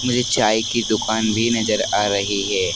मुझे चाय की दुकान भी नजर आ रही है।